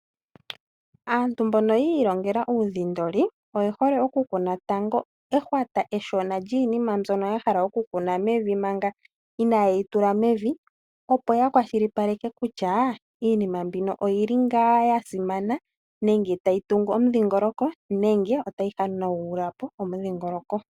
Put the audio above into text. Aantu mbono yi ilongela uudhindoli, oye hole okukuna tango ehwata eshona lyiinima mbyono ya hala okukuna mevi manga inaa ye yi tula mevi. Opo ya kwashilipaleke kutya iinima mbino oyi li ngaa ya simana nenge tayi tungu omudhingololoko nenge otayi hanagula po omudhingoloko.